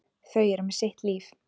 Þau eru með sitt líf.